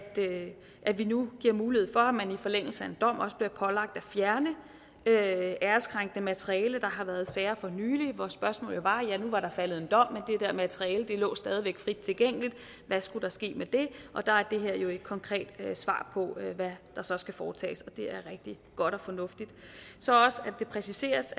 at vi nu giver mulighed for at man i forlængelse af en dom også bliver pålagt at fjerne æreskrænkende materiale der har været sager for nylig hvor spørgsmålet jo var at ja nu var der faldet en dom men dér materiale lå stadig væk frit tilgængeligt og hvad skulle der ske med det der er det her jo et konkret svar på hvad der så skal foretages det er rigtig godt og fornuftigt det præciseres